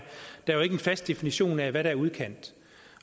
der jo ikke en fast definition af hvad der er udkant